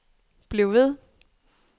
bliv ved